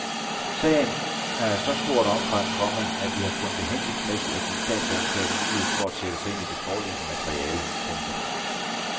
Sagen er af så stort omfang, komma at vi har fundet det hensigtsmæssigt at give statsadvokaten mulighed for at sætte sig ind i det foreløbige materiale. punktum